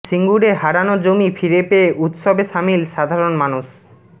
সিঙ্গুরে হারানো জমি ফিরে পেয়ে উৎসবে সামিল সাধারণ মানুষ